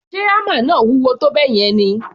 Ṣe hámà náà wúwo tó bẹ́ẹ̀ yẹn ni?